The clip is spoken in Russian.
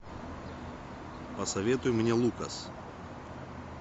посоветуй мне лукас